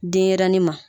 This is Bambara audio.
Denɲɛrɛnin ma